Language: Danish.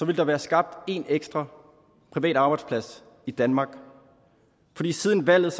der være skabt en ekstra privat arbejdsplads i danmark fordi siden valget